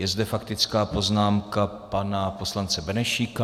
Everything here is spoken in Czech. Je zde faktická poznámka pana poslance Benešíka.